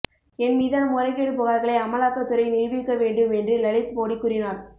என் மீதான முறைகேடு புகார்களை அமலாக்கத் துறை நிரூபிக்க வேண்டும் என்று லலித் மோடி கூறினார்